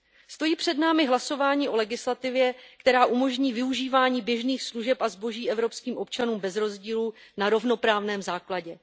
Stojí před námi hlasování o legislativě, která umožní využívání běžných služeb a zboží evropským občanům bez rozdílu, na rovnoprávném základě.